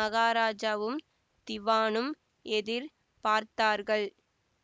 மகாராஜாவும் திவானும் எதிர் பார்த்தார்கள்